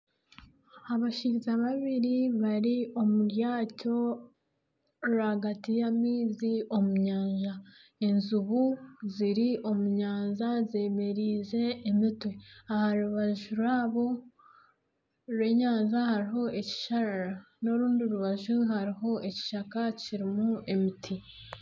Abashaija babiri bari omu ryato, rwagati y'amaizi omu nyanja. Enjubu ziri omu nyanja zemereize emitwe aha rubaju rwabo rw'enyanja hariho ekisharara n'orundi rubaju hariho ekishaka kirimu emiti.